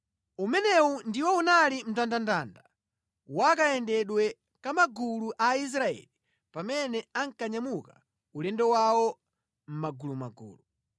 Umenewu ndiwo unali mndandanda wa kayendedwe ka magulu a Aisraeli pamene ankanyamuka ulendo wawo mʼmagulumagulu.